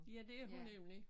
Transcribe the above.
Ja det er hun nemlig